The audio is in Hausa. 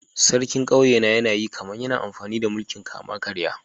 Sarkin kauyena yana yi kaman yana amfani da mulki'n kama-karya.